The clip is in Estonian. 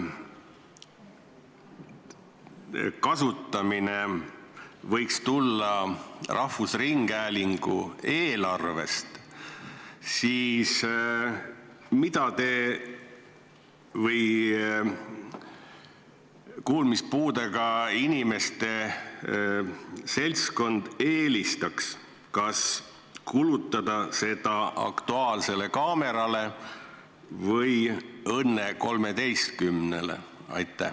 – kasutamine võiks tulla rahvusringhäälingu eelarvest, siis mida kuulmispuudega inimeste seltskond eelistaks, kas kulutada seda "Aktuaalsele kaamerale" või "Õnne 13-le"?